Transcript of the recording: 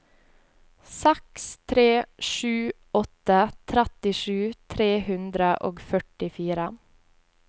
seks tre sju åtte trettisju tre hundre og førtifire